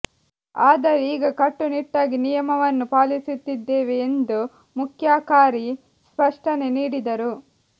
ಆದರೆ ಈಗ ಕಟ್ಟು ನಿಟ್ಟಾಗಿ ನಿಯಮವನ್ನು ಪಾಲಿಸುತ್ತಿದ್ದೇವೆ ಎಂದು ಮುಖ್ಯಾಕಾರಿ ಸ್ಪಷ್ಟನೆ ನೀಡಿದರು